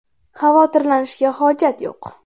Xavotirlanishga hojat yo‘q.